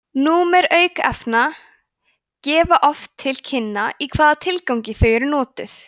númer aukefna gefa oft til kynna í hvaða tilgangi þau eru notuð